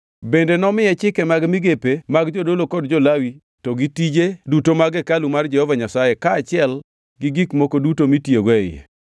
Bende nomiye chike mag migepe mag jodolo kod jo-Lawi to gi tije duto mag hekalu mar Jehova Nyasaye kaachiel gi gik moko duto mitiyogo e iye.